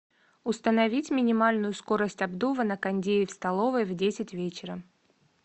установить минимальную скорость обдува на кондее в столовой в десять вечера